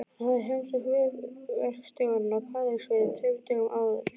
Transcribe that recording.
Hann hafði heimsótt vegaverkstjórann á Patreksfirði tveimur dögum áður.